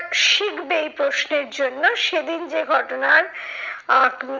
শিখবে এই প্রশ্নের জন্য সেদিন যে ঘটনার আহ